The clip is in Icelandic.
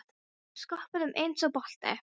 Hún skoppaði um eins og bolti.